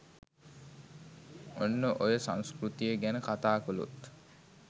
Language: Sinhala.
ඔන්න ඔය සංස්කෘතිය ගැන කතා කලොත්